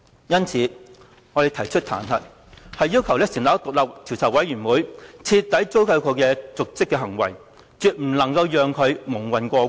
因此，我們提出彈劾，要求成立一個獨立的調查委員會，徹底追究其瀆職行為，絕不能夠讓他蒙混過關。